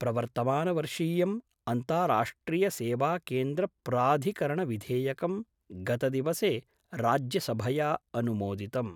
प्रवर्तमानवर्षीयम् अन्ताराष्ट्रियसेवाकेन्द्रप्राधिकरणविधेयकं गतदिवसे राज्यसभया अनुमोदितम्।